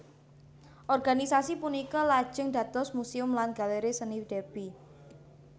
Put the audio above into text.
Organisasi punika lajeng dados Museum lan Galeri Seni Derby